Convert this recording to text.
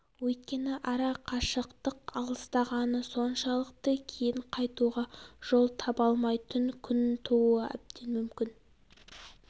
өйткені ара қашықтық алыстағаны соншалықты кейін қайтуға жол таба алмайтын күн тууы әбден мүмкін